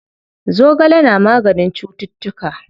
Zogale na maganin cuttutuka.